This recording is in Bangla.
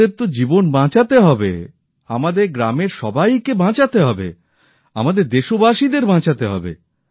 আমাদের তো জীবন বাঁচাতে হবে আমাদের গ্রামের সবাই কে বাঁচাতে হবে আমাদের দেশবাসীদের বাঁচাতে হবে